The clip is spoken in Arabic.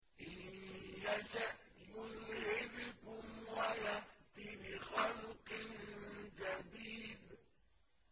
إِن يَشَأْ يُذْهِبْكُمْ وَيَأْتِ بِخَلْقٍ جَدِيدٍ